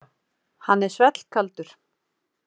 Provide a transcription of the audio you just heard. Hann er svellkaldur.